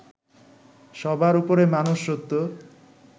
সবার উপরে মানুষ সত্য